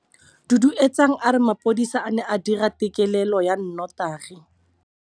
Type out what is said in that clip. Duduetsang a re mapodisa a ne a dira têkêlêlô ya nnotagi.